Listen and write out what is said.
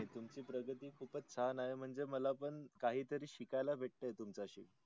तुमची प्रगती खूपच छान आहे म्हणजे मला पण काही तरी शिकायला भेटे तुमचा सी.